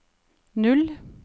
null